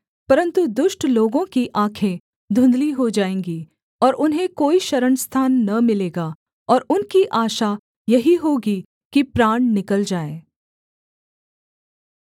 परन्तु दुष्ट लोगों की आँखें धुँधली हो जाएँगी और उन्हें कोई शरणस्थान न मिलेगा और उनकी आशा यही होगी कि प्राण निकल जाए